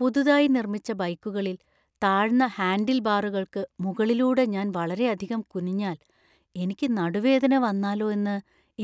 പുതുതായി നിർമ്മിച്ച ബൈക്കുകളിൽ താഴ്ന്ന ഹാൻഡിൽബാറുകൾക്ക് മുകളിലൂടെ ഞാൻ വളരെയധികം കുനിഞ്ഞാൽ എനിക്ക് നടുവേദന വന്നാലോ എന്ന്